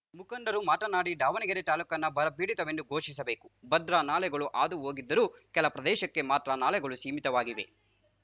ಮುಖಂಡರು ಮಾತನಾಡಿ ದಾವಣಗೆರೆ ತಾಲೂಕನ್ನು ಬರ ಪೀಡಿತವೆಂದು ಘೋಷಿಸಬೇಕು ಭದ್ರಾ ನಾಲೆಗಳು ಹಾದು ಹೋಗಿದ್ದರೂ ಕೆಲ ಪ್ರದೇಶಕ್ಕೆ ಮಾತ್ರ ನಾಲೆಗಳು ಸೀಮಿತವಾಗಿವೆ